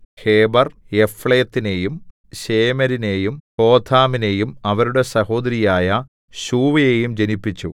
ഹേബെർ യഫ്ലേത്തിനെയും ശേമേരിനെയും ഹോഥാമിനെയും അവരുടെ സഹോദരിയായ ശൂവയെയും ജനിപ്പിച്ചു